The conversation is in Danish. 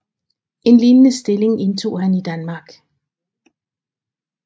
En lignende stilling indtog han i Danmark